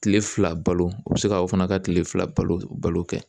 Kile fila balo o bɛ se ka o fana ka tile fila balo balo kɛ